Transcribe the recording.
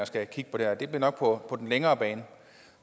skal kigge på det her det bliver nok på den længere bane